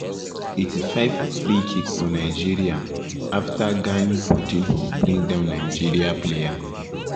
85’ freekick for nigeria um afta gani portilho bring down nigeria player.